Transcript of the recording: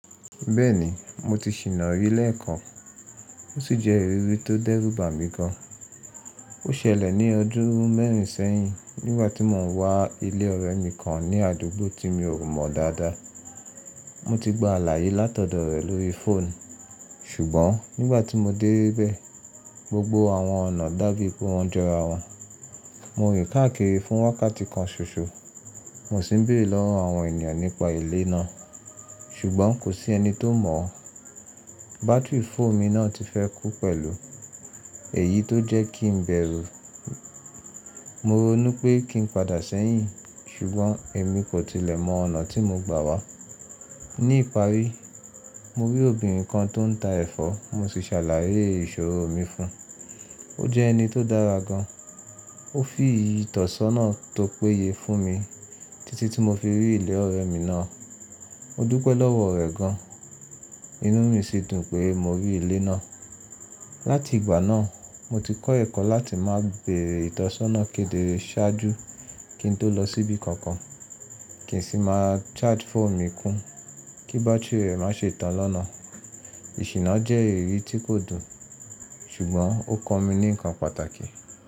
Bẹ́ẹ̀ni mo ti ṣìná rí lẹ́ẹ̀kan, ó sì jẹ́ ìrírí tó dẹ́rùbà mi gan. Ó ṣẹlẹ̀ ní ọdún mẹ́rin sẹ́yìn nígbà tí mò ń wá ilé ọ̀rẹ́ mi kan ní àdúgbò tí mi ò mọ̀ dáadáa. Mo ti gba àlàyé látọ̀dọ̀ rẹ̀ lórí fóònù ṣùgbọ́n nígbà tí mo dé bẹ́ẹ̀ gbogbo àwọn ọ̀nà dàbí pé wọ́n jọra wọn. Mo rín káàkiri fún wákàtí kan ṣoṣo, mo sì ń bèrè lọ́wọ́ àwọn ènìyàn nípa ilé náà ṣùgbọ́n kò sí ẹni tó mọ̀ ọ́. Bátírì fóònù mi náà ti fẹ́ kú pẹ̀lú èyí tó jẹ́ kí n bẹ̀rù. Mo ronu pé kí n padà sẹ́yìn ṣùgbọ́n èmi kò tilẹ̀ mọ ọ̀nà tí mo gbà wá. Ní ìparí mo rí obìnrin kan tó ń ta ẹ̀fọ́ mo sì ṣàlàyé ìṣòro mi fún un. Ó jẹ́ ẹni tó dára gan, ó fi ìtọ̀sọ́nà tó péye fún mi títí tí mo fi rí ilé ọ̀rẹ́ mi náà. Mo dúpẹ́ lọ́wọ́ rẹ̀ gan, inú mi sì dùn pé mo rí ilé náà. Láti ìgbà náà mo ti kọ́ ẹ̀kọ́ láti máa bèrè ìtọ̀sọ́nà kedere ṣáájú kí n tó lọ síbi kankan kì í sì máa charge fóònù mi kún kí bátírì rẹ̀ má ṣe tán lọ́nà. Ìṣìná jẹ́ ìrírí tí kò dùn ṣùgbọ́n ó kọ́ mi ní ǹkan pàtàkì.